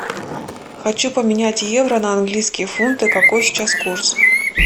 хочу поменять евро на английские фунты какой сейчас курс